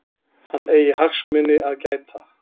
Hann eigi hagsmuni að gæta.